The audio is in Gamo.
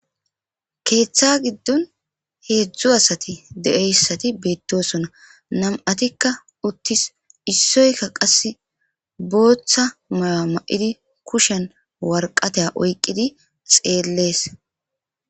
Keetha gidon hezhu asati de'iyaysati beetosona nam'ati uttis issoyka qase bootha mayo mayidi kushen woraqata oykidi xeeles.